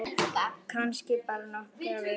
Kannski bara nokkrar vikur.